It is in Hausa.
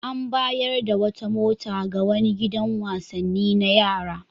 An bayar da wata mota ga wani gidan wasanni na yara.